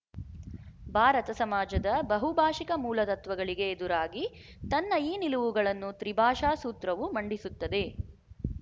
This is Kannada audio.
ಭಾರತ ಸಮಾಜದ ಬಹುಭಾಶಿಕ ಮೂಲತತ್ವಗಳಿಗೆ ಎದುರಾಗಿ ತನ್ನ ಈ ನಿಲುವುಗಳನ್ನು ತ್ರಿಭಾಷಾ ಸೂತ್ರವು ಮಂಡಿಸುತ್ತದೆ